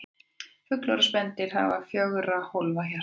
Fuglar og spendýr hafa fjögurra hólfa hjarta.